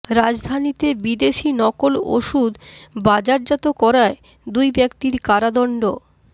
রাজধানীতে বিদেশি নকল ওষুধ বাজারজাত করায় দুই ব্যক্তির কারাদণ্ড